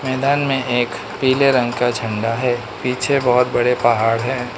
मैदान में एक पीले रंग का झंडा है पीछे बहुत बड़े पहाड़ हैं।